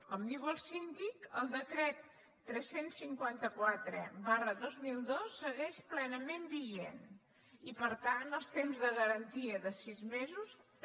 com diu el síndic el decret tres cents i cinquanta quatre dos mil dos segueix plenament vigent i per tant els temps de garantia de sis mesos també